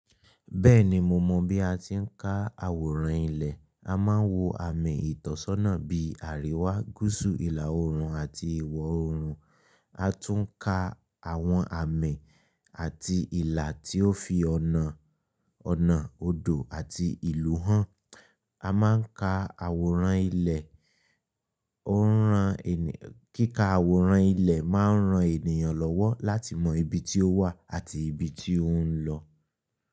Bẹ́ẹ̀ni, mo mọ̀ bí a ti ń ka àwòrán ilẹ̀. A máa ń wo àmì ìtọ́sọ́nà bí àríwá, gúúsù, ìlà oòrùn àti ìwọ̀ oòrùn. A tún ń ka àwọn àmì àti ìlà tí ó fi ọ̀nà, ọ̀nà odò àti ìlú hàn. A máa ń ka àwòrán ilẹ̀, ó ń ran ènìyàn, kíkà àwòrán ilẹ̀ máa ń ran ènìyàn lọ́wọ́ láti mọ ibi tí ó wà àti ibi tí ó ń lọ.